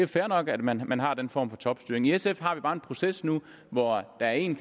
fair nok at man man har den form for topstyring i sf har vi bare en proces nu hvor der er en